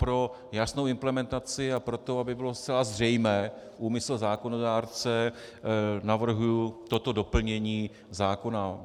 Pro jasnou implementaci a pro to, aby byl zcela zřejmý úmysl zákonodárce, navrhuji toto doplnění zákona.